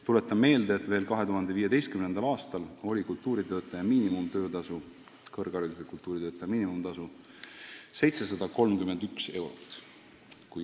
Tuletan meelde, et 2015. aastal oli kõrgharidusega kultuuritöötaja miinimumtöötasu 731 eurot.